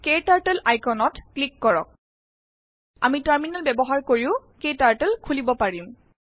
ক্টাৰ্টল আইকণত ক্লিক কৰক আমি টাৰ্মিনেল বয়্ৱহাৰ কিৰও ক্টাৰ্টল খুলিব পাৰিম